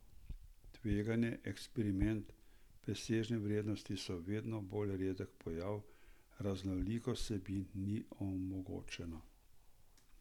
Tveganje, eksperiment, presežne vrednosti so vedno bolj redek pojav, raznolikost vsebin ni omogočena.